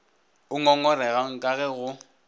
o ngongoregang ka ge go